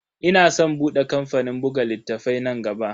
Ina san bude kamfanin buga littafai nan gaba.